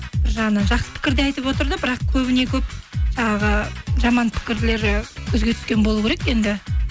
бір жағынан жақсы пікір де айтып отырды бірақ көбіне көп жаңағы жаман пікірлері көзге түскен болу керек енді